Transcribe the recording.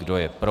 Kdo je pro?